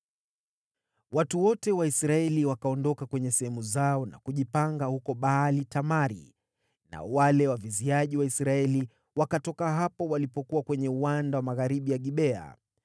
Watu wote wa Israeli wakaondoka kwenye sehemu zao na kujipanga huko Baal-Tamari, nao wale waviziaji wa Waisraeli, wakatoka hapo walipokuwa kwenye uwanda wa magharibi ya Gibea.